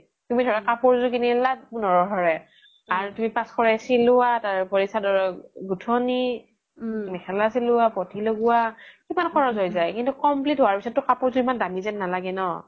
তুমি ধৰা কাপুৰ এযোৰ কিনি আনিলা পোন্ধৰশ ৰে আৰু তুমি পাঁচশ চিলিৱা তাৰ পিছ্ত আৰু চাদৰৰ গুথনি মেখেলা চিলিৱা পতি লগুৱা কিমান সহজ যাই কিন্তু complete হুৱাৰ পিছ্ত কাপুৰ যোৰ ইমান দামি যেন নালাগে ন